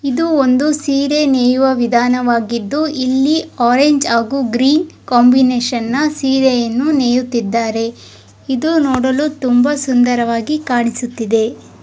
ಇದು ಒಂದು ಸೀರೆ ನೈಯುವ ವಿಧಾನವಾಗಿದ್ದು ಇಲ್ಲಿ ಆರೆಂಜ್ ಹಾಗು ಗ್ರೀನ್ ಕಾಂಬಿನೇಷನ್ ನ ಸೀರೆಯನ್ನು ನೇಯುತ್ತಿದ್ದಾರೆ ಇದು ನೋಡಲು ತುಂಬಾ ಸುಂದರವಾಗಿ ಕಾಣಿಸುತ್ತಿದೆ.